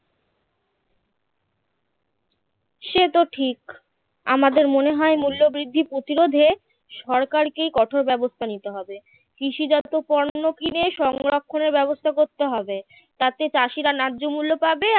সে তো ঠিক আমাদের মনে হয় মূল্যবৃদ্ধি প্রতিরোধে সরকারকেই কঠোর ব্যবস্থা নিতে হবে কৃষিজাত পণ্য কিনে সংরক্ষণের ব্যবস্থা করতে হবে তাতে চাষিরা ন্যায্য মূল্য পাবে